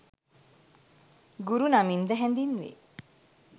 ගුරු නමින්ද හැඳින්වේ.